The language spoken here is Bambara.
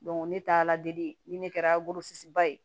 ne taala deli ni ne kɛra ba ye